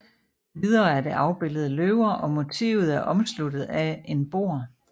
Videre er det afbilledet løver og motivet er omsluttet af en bord